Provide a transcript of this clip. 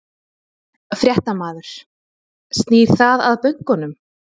Fréttamaður: Snýr það að bönkunum?